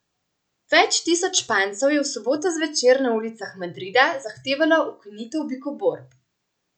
Več tisoč Špancev je v soboto zvečer na ulicah Madrida zahtevalo ukinitev bikoborb.